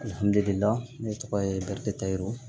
Alihamudulila ne tɔgɔ ye biriki tayiru